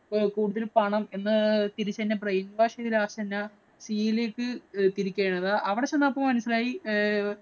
കൂടുതൽ പണം എന്ന് തിരിച്ച് എന്നെ brainwash ചെയ്ത് last എന്താ തിരിക്കുകയായിരുന്നു. അവിടെ ചെന്നപ്പൊ മനസിലായി ഏർ